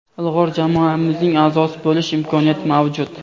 ilg‘or jamoamizning aʼzosi bo‘lish imkoniyati mavjud.